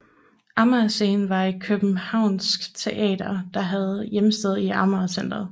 Amager Scenen var et københavnsk teater der havde hjemsted i Amager Centret